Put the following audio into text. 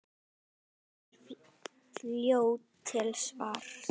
Kristín er fljót til svars.